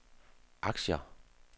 aktier